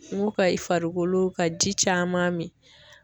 N ko ka i farikolo ka ji caman min.